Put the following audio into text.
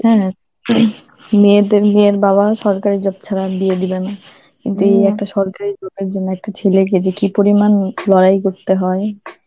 হ্যাঁ, মেয়েদের~ মেয়ের বাবা সরকারি job ছাড়া বিয়ে দিবেনা, যে একটা সরকারি জন্য একটা ছেলেকে যে কি পরিমাণ লড়াই করতে হয়,